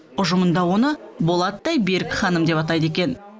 ұжымында оны болаттай берік ханым деп атайды екен